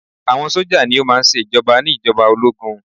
Àwọn sójà ní o máà ń ṣe ìjoba ní ìjọba ológun.